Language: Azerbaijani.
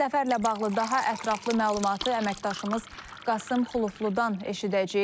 Səfərlə bağlı daha ətraflı məlumatı əməkdaşımız Qasım Xulufludan eşidəcəyik.